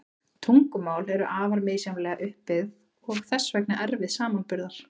Tungumál eru afar misjafnlega upp byggð og þess vegna erfið samanburðar.